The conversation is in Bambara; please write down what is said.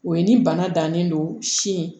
O ye ni bana dannen don sin